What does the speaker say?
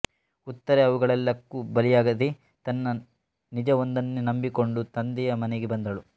ಉತ್ತರೆ ಅವುಗಳೆಲ್ಲಕ್ಕೂ ಬಲಿಯಾಗದೆ ತನ್ನ ನಿಜವೊಂದನ್ನೇ ನಂಬಿಕೊಂಡು ತಂದೆಯ ಮನೆಗೆ ಬಂದಳು